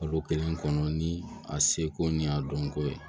Kalo kelen kɔnɔ ni a seko ni a dɔnko ye